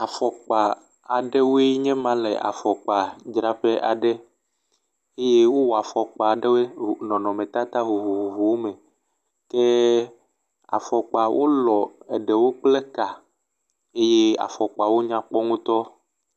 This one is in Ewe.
Afɔkpa aɖewoe nye ma le afɔkpadzraƒe aɖe eye wowɔ afɔkpa aɖewe ɖe nɔnɔmetata vovovowo me ke afɔkpawo lɔ̃ eɖewo kple ka eye afɔkpawo nyakpɔ ŋutɔ.